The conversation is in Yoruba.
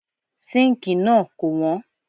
Síǹkì náà kò wọ́n.